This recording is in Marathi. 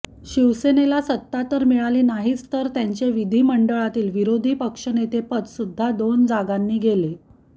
शिवसेनेला सत्ता तर मिळाली नाहीच तर त्यांचे विधीमंडळातील विरोधीपक्षनेते पद सुध्दा दोन जागांनी गेले